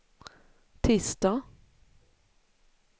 tisdag